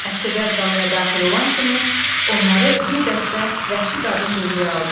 Əsirlər qalaya daxil olan kimi onları bir dəstə vəhşi qadın dövrəyə aldı.